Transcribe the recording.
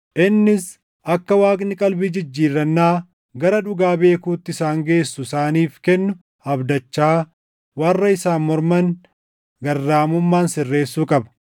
Innis akka Waaqni qalbii jijjiirrannaa gara dhugaa beekuutti isaan geessu isaaniif kennu abdachaa warra isaan morman garraamummaan sirreessuu qaba;